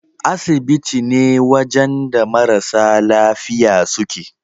Asibiti ne wajan da marasa lafiya suke